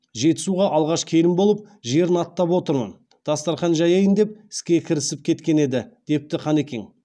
жетісуға алғаш келін болып жерін аттап отырмын дастархан жаяйын деп іске кірісіп кеткен еді депті қанекең